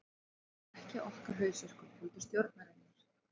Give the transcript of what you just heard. Ekki okkar hausverkur heldur stjórnarinnar